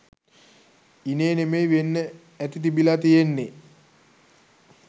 ඉනේ නෙමෙයි වෙන්න ඇති තිබිලා තියෙන්නේ.